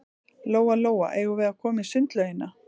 Lóa-Lóa, eigum við að koma í sundlaugina?